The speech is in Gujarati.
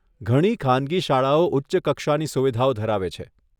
ઘણી ખાનગી શાળાઓ ઉચ્ચ કક્ષાની સુવિધાઓ ધરાવે છે.